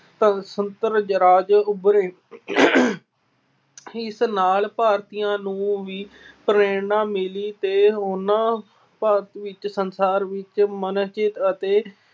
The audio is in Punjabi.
ਸੁਤੰਤਰ ਰਾਜ ਉਭਰੇ। ਇਸ ਨਾਲ ਭਾਰਤੀਆਂ ਨੂੰ ਵੀ ਪ੍ਰੇਰਨਾ ਮਿਲੀ ਤੇ ਉਹਨਾਂ ਭਾਰਤ ਵਿੱਚ ਸੰਸਾਰ ਵਿੱਚ ਅਤੇ